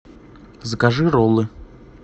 закажи роллы